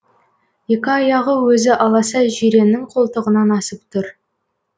екі аяғы өзі аласа жиреннің қолтығынан асып тұр